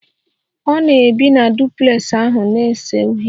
Ọ na-ebi na duplex ahụ na-ese uhie